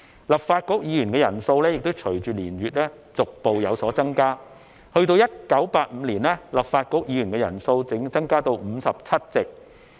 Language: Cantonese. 立法局議員的人數亦隨着年月逐步有所增加，及至1985年，立法局議員的人數已增至57席。